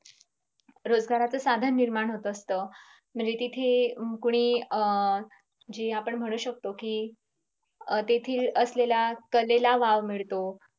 रोजगारच साधन निर्माण होत असत म्हणजे तिथे अं कुणी अं जे आपण म्हणू शकतो कि, तेथील असलेल्या कलेला वाव मिळतो.